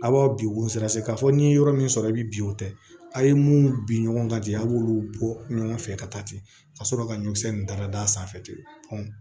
A b'aw bi wosɔn se k'a fɔ ni ye yɔrɔ min sɔrɔ i bɛ bin o tɛ a ye mun bin ɲɔgɔn kan ten a b'olu bɔ ɲɔgɔn fɛ ka taa ten ka sɔrɔ ka ɲɔkisɛ in dalad'a sanfɛ ten